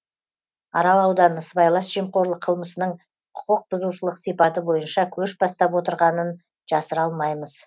арал ауданы сыбайлас жемқорлық қылмысының құқықбұзушылық сипаты бойынша көш бастап отырғанын жасыра алмаймыз